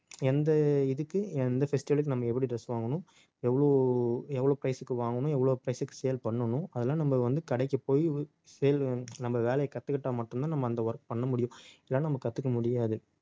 எந்த இதுக்கு எந்த festival க்கு, நம்ம எப்படி dress வாங்கணும் எவ்வளவு எவ்வளவு price க்கு வாங்கணும் எவ்வளவு price க்கு sale பண்ணணும் அதெல்லாம் நம்ம வந்து, கடைக்கு போயி sale நம்ம வேலையை கத்துக்கிட்டா மட்டும்தான் நம்ம அந்த work பண்ண முடியும் இல்லைன்னா நம்ம கத்துக்க முடியாது